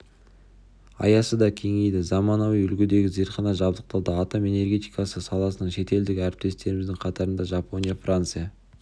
аясы да кеңейді заманауи үлгідегі зертхана жабдықталды атом энергетикасы саласынан шетелдік әріптестеріміздің қатарында жапония франция